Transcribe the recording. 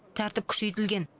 тәртіп күшейтілген